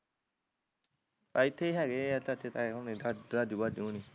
ਏਥੇ ਹੈਗੇ ਆ ਚਾਚੇ ਤਾਏ ਹੁਣੀ ਰਾਜੂ ਬਾਜ਼ੂ ਹੁਣੀ